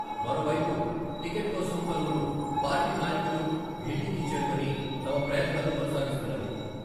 మరోవైపు, టికెట్ కోసం పలువురు పార్టీ నాయకులు ఢిల్లీకి చేరుకొని, తమ ప్రయత్నాలు కొనసాగిస్తున్నారు.